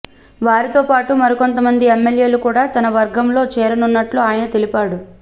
వారితో పాటు మరికొంతమంది ఎమ్మెల్యేలు కూడా తన వర్గంలో చేరనున్నట్లు ఆయన తెలిపాడు